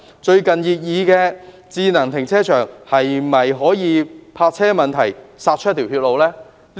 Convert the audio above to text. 最近擬議的智能停車場，可否為泊車問題殺出一條"血路"？